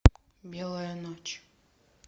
белая ночь